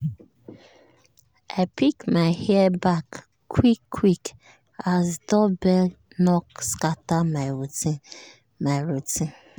i pack my hair back quick quick as doorbell knock scatter my routine. my routine.